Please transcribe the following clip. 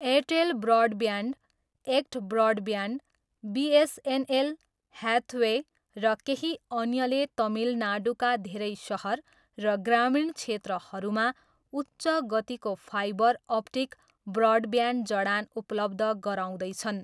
Airtel broadband, ACT broadband, BSNL, Hathway, र केही अन्यले तमिलनाडुका धेरै सहर र ग्रामीण क्षेत्रहरूमा उच्च गतिको फाइबर अप्टिक ब्रडब्यान्ड जडान उपलब्ध गराउँदै छन्।